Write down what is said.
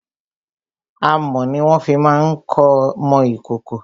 Amọ̀ ni wọ́n fi má ń mọ ìkòkò.